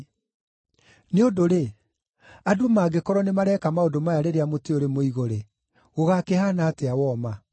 Nĩ ũndũ-rĩ, andũ mangĩkorwo nĩmareeka maũndũ maya rĩrĩa mũtĩ ũrĩ mũigũ-rĩ, gũgakĩhaana atĩa woma?”